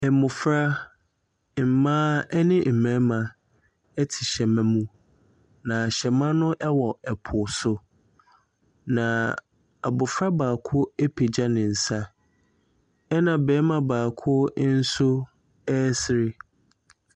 Mmofra, mmaa ne mmarima te hyɛma mu. Na hyɛma no wɔ po so. Na abofra baako apegya ne nsa ɛna barima baako nso resere.